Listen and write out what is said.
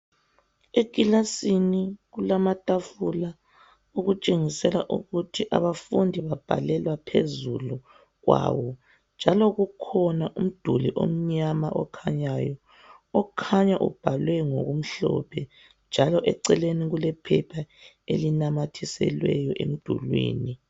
ekilasini kulamatafula okutshengisela ukuthi abafundi babhalela phezulu kwawo njalo kukhona umduli omnyama okhanyayo okhanya ubhalwe ngokumhlophe njalo eceleni kulephepha elinamathiselweyo emdulini